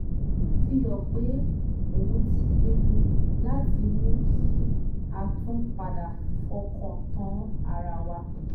fi hàn pé òun ti pinnu láti mú kí a tún padà fọkàn tán ara wa